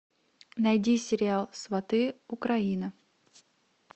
найди сериал сваты украина